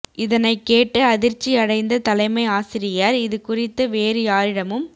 இதனைக் கேட்டு அதிர்ச்சியடைந்த தலைமை ஆசிரியர் இதுக் குறித்து வேறு யாரிடமும்